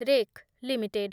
rack limited